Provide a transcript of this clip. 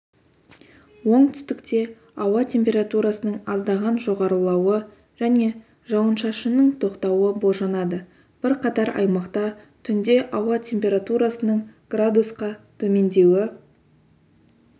оңтүстікте ауа температурасының аздаған жоғарылауы және жауын-шашынның тоқтауы болжанады бірқатар аймақта түнде ауа температурасының градусқа төмендеуі